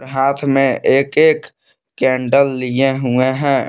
और हाथ में एक एक कैंडल लिए हुए हैं।